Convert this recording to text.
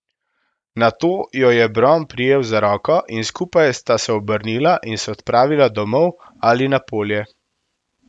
Nato jo je Bron prijel za roko in skupaj sta se obrnila in se odpravila domov ali na polje.